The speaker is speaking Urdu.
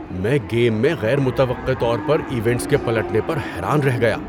میں گیم میں غیر متوقع طور پر ایونٹس کے پلٹنے پر حیران رہ گیا۔